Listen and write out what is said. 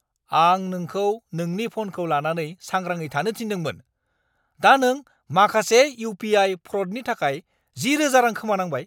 आं नोंखौ नोंनि फ'नखौ लानानै सांग्राङै थानो थिन्दोंमोन। दा नों माखासे इउ.पि.आइ. फ्र'डनि थाखाय 10,000 रां खोमानांबाय!